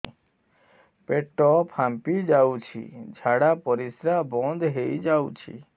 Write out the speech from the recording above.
ପେଟ ଫାମ୍ପି ଯାଉଛି ଝାଡା ପରିଶ୍ରା ବନ୍ଦ ହେଇ ଯାଉଛି